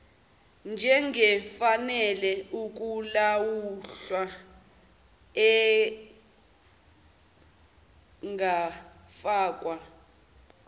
njengefanele ukulahlwa engafakwa